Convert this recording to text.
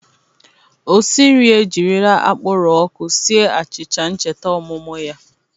Osinri e jirila akpụrọ ọkụ sie achịcha ncheta ọmụmụ ya.